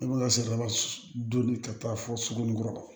I bɛ ka sariya don ka taa fɔ suguninkɔrɔ